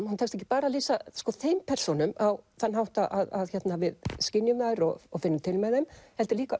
honum tekst ekki bara að lýsa þeim persónum á þann hátt að við skynjum þær og og finnum til með þeim heldur líka